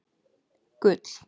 Gull